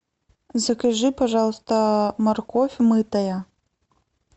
закажи пожалуйста морковь мытая